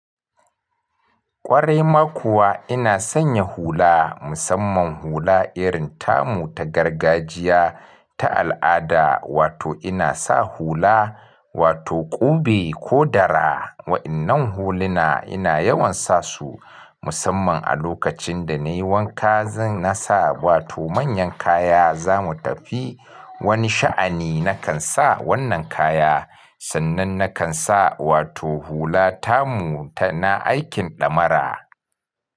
Ƙwarai ma kuwa ina sanya hula, musamman hula irin tamu ta gargajiya, ta al'ada, wato ina sa hula wato ƙube ko dara. Wa'innan huluna ina yawan sa su musamman a lokacin da nayi wanka zan sa, wato manyan kaya zamu tafi wani sha'ani nakan sa wannan kaya. Sannan nakan sa wato hula tamu ta na aikin ɗamara.